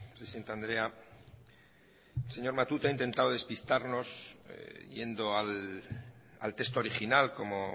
presidente andrea señor matute ha intentado despistarnos yendo al texto original como